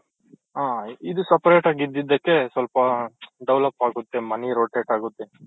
ಹ ಇದು separate ಆಗಿ ಇದ್ದ್ದಕ್ಕೆ ಸ್ವಲ್ಪ develop ಆಗುತ್ತೆ money rotate ಆಗುತ್ತೆ